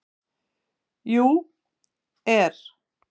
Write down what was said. . jú. er.